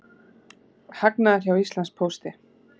Hagnaður hjá Íslandspósti